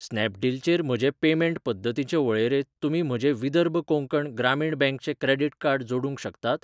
स्नॅपडील चेर म्हजे पेमेंट पद्दतींचे वळेरेंत तुमी म्हजें विदर्भ कोंकण ग्रामीण बँक चें क्रेडिट कार्ड जोडूंक शकतात?